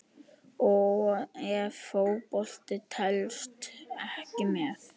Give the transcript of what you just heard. Ef Fótbolti telst ekki með?